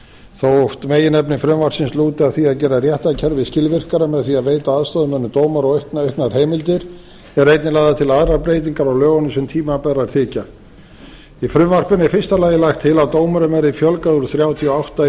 þótt meginefni frumvarpsins lúti að því gera réttarkerfið skilvirkara með því að veita aðstoðarmönnum dómara auknar heimildir eru einnig lagðar til aðrar breytingar á lögunum sem tímabærar þykja í frumvarpinu er í fyrsta lagi lagt til að dómurum verði fjölgað úr þrjátíu og átta í